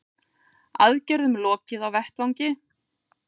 Aðgerðum lokið á vettvangi